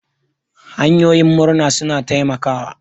Hanyoyin murna suna taimakawa.